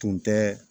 Tun tɛ